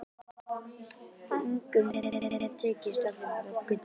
Engum hefur tekist að finna gullið.